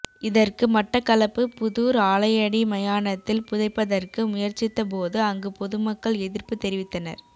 இதற்கு மட்டக்களப்பு புதூர் ஆலையடி மயானத்தில் புதைப்பதற்கு முயற்சித்தபோது அங்கு பொதுமக்கள் எதிர்ப்பு தெரிவித்தனர்